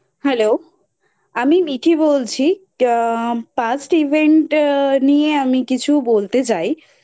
Hello আমি মিঠি বলছি আ Past Event নিয়ে আমি কিছু বলতেই চাই